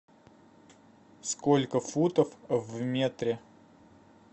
сколько футов в метре